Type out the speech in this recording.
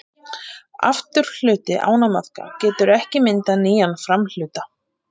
Afturhluti ánamaðka getur ekki myndað nýjan framhluta.